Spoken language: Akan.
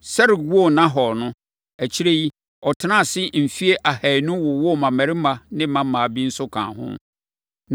Serug woo Nahor no, akyire yi, ɔtenaa ase mfeɛ ahanu wowoo mmammarima ne mmammaa bi nso kaa ho.